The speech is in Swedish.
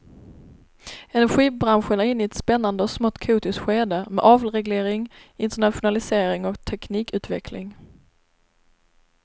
Energibranschen är inne i ett spännande och smått kaotiskt skede med avreglering, internationalisering och teknikutveckling.